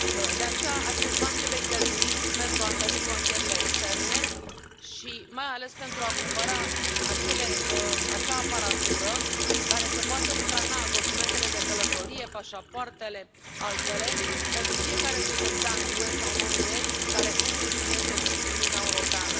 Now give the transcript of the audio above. De aceea, acești bani trebuie cheltuiți pentru a întări frontierele externe și, mai ales, pentru a cumpăra acea aparatură care să poată scana documentele de călătorie, pașapoartele, altele, pentru fiecare cetățean UE sau non UE care intră și iese din Uniunea Europeană.